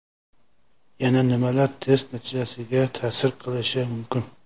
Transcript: Yana nimalar test natijasiga ta’sir qilishi mumkin?